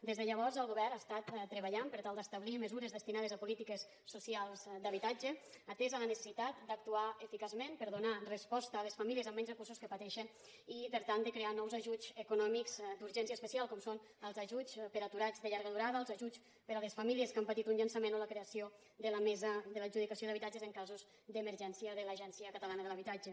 des de llavors el govern ha estat treballant per tal d’establir mesures destinades a polítiques socials d’habitatge atesa la necessitat d’actuar eficaçment per donar resposta a les famílies amb menys recursos que pateixen i tractant de crear nous ajuts econòmics d’urgència especial com són els ajuts per a aturats de llarga durada els ajuts per a les famílies que han patit un llançament o la creació de la mesa per a l’adjudicació d’habitatges en casos d’emergència de l’agència catalana de l’habitatge